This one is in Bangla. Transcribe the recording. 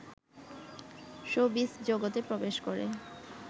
শোবিজ জগতে প্রবেশ করে